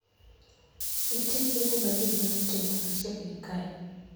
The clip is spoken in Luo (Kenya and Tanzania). Nitie chiemo ma ji nyalo ting'o machiegni kae